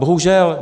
Bohužel.